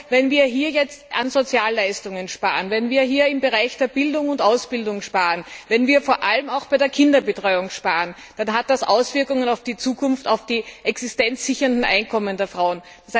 Wenn wir jetzt an Sozialleistungen sparen, wenn wir hier im Bereich der Bildung und Ausbildung sparen, wenn wir vor allem auch bei der Kinderbetreuung sparen, dann hat das Auswirkungen auf die Zukunft, auf die existenzsichernden Einkommen der Frauen.